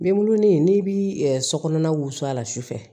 N bɛ wolo ni n'i bi sokɔnɔna wusu a la sufɛ